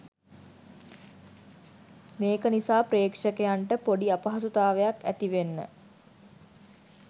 මේක නිසා ප්‍රේක්ෂකයන්ට පොඩි අපහසුතාවයක් ඇතිවෙන්න